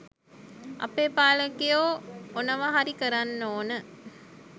අපේ පාලකයෝ ඔනව හරි කරන්න ඕන..